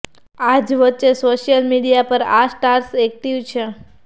આજ વચ્ચે social media પર આ સ્ટાર્સ એક્ટિવ છે